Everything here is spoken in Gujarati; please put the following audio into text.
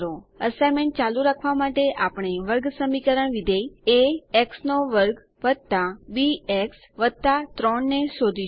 અસાઇનમેન્ટ ચાલુ રાખવા માટે આપણે વર્ગસમીકરણ વિધેય એ x2 બીએક્સ 3 ને શોધીશું